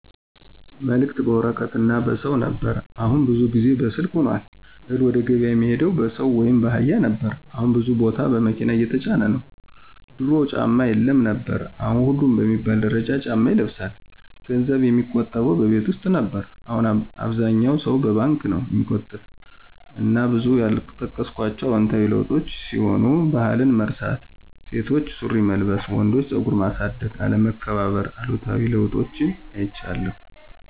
መልክት በወረቀት እና በሰው ነበር አሁን ብዙውን ጊዜ በስልክ ሁኗል፣ እህል ወደገብያ የሚሄደው በሰው ወይም ባህያ ነበር አሁን ብዙ ቦታ በመኪና እየተጫነ ነው፣ ድሮ ጫማ የለም ነበር አሁን ሁሉም በሚባል ደረጃ ጫማ ይለብሳል፣ ገንዘብ የሚቆጠበው በቤት ውስጥ ነበር አሁን አብዛኛው ሰው በባንክ ነው ሚቆጥብ እና ብዙ ያልጠቀስኳቸው አዎንታዊ ለዉጦች ሲሆኑ ባህልን መርሳት፣ ሴቶች ሱሪ መልበስ፣ ወንዶች ፀጉር ማሳደግ፣ አለመከባር ....አሉታዊ ለውጦችን አይቻለሁ።